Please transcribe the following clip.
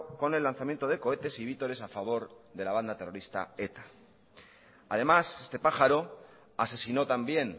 con el lanzamiento de cohetes y vítores a favor de la banda terrorista eta además este pájaro asesinó también